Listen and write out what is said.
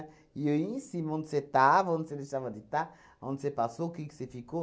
E eu ia em cima, onde você estava, onde você deixava de estar, onde você passou, o que que você ficou.